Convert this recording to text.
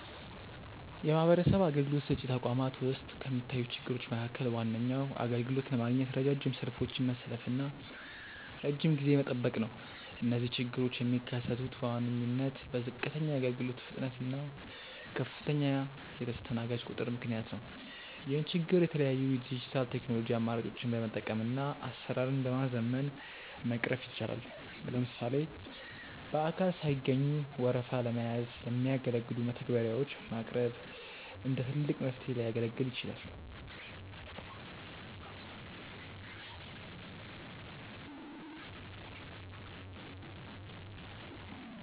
የማህበረሰብ አገልግሎት ሰጪ ተቋማት ውስጥ ከሚታዩ ችግሮች መካከል ዋነኛው አገልግሎት ለማግኘት ረጃጅም ሰልፎችን መሰለፍና ረጅም ጊዜ መጠበቅ ነው። እነዚህ ችግሮች የሚከሰቱት በዋነኝነት በዝቅተኛ የአገልግሎት ፍጥነት እና ከፍተኛ የተስተናጋጅ ቁጥር ምክንያት ነው። ይህን ችግር የተለያዩ የዲጂታል ቴክኖሎጂ አማራጮችን በመጠቀምና አሰራርን በማዘመን መቅረፍ ይቻላል። ለምሳሌ በአካል ሳይገኙ ወረፋ ለመያዝ የሚያገለግሉ መተግበሪያዎች ማቅረብ እንደ ትልቅ መፍትሄ ሊያገለግል ይችላል።